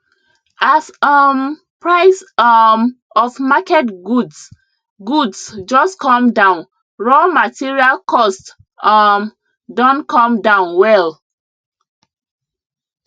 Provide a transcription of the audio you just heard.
as um price um of market goods goods just come down raw material cost um don come down well